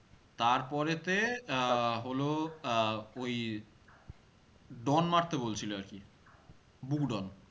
তারপরে তে, আহ হল আহ ওই ডন মারতে বলছিল আর কি। বুকডন,